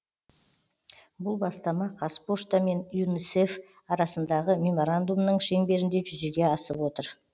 бұл бастама қазпошта мен юнисеф арасындағы меморандумның шеңберінде жүзеге асып отыр